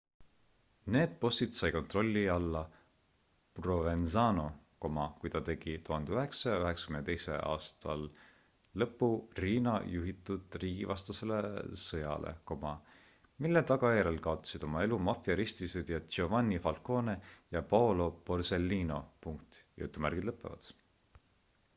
need bossid sai kontrolli alla provenzano kui ta tegi 1992 aastal lõpu riina juhitud riigivastasele sõjale mille tagajärjel kaotasid oma elu maffia ristisõdijad giovanni falcone ja paolo borsellino